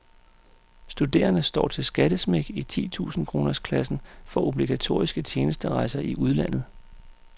Studerende står til skattesmæk i titusind kroners klassen for obligatoriske tjenesterejser i udlandet.